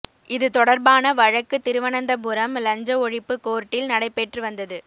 இது தொடர்பான வழக்கு திருவனந்தபுரம் லஞ்ச ஒழிப்பு கோர்ட்டில் நடைபெற்று வந்தது